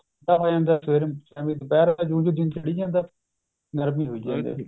ਠੰਡਾ ਹੋ ਜਾਂਦਾ ਸਵੇਰ ਵੇਲੇ ਜਿਓਂ ਜਿਓਂ ਦਿਨ ਚੜੀ ਜਾਂਦਾ ਗਰਮੀ ਹੋਈ ਜਾਂਦੀ